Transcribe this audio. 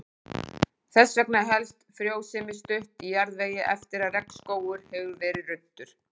Þess vegna helst frjósemi stutt í jarðvegi eftir að regnskógur hefur verið ruddur.